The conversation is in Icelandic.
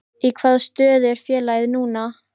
Í hvaða stöðu er félagið núna?